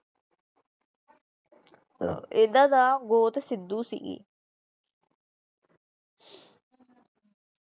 ਇਨ੍ਹਾਂ ਦਾ ਗੋਤ ਸਿੱਧੂ ਸੀ।